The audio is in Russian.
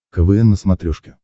квн на смотрешке